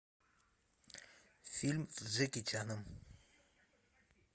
фильм с джеки чаном